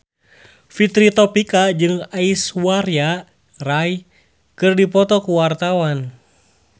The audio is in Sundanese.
Fitri Tropika jeung Aishwarya Rai keur dipoto ku wartawan